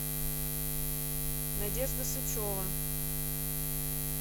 надежда сычева